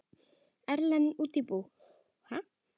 Erlend útibú.